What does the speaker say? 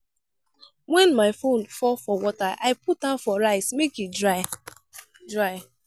wen my phone fall for water i put am for rice make e dry. dry.